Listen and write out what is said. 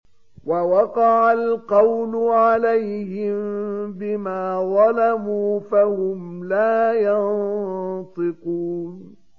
وَوَقَعَ الْقَوْلُ عَلَيْهِم بِمَا ظَلَمُوا فَهُمْ لَا يَنطِقُونَ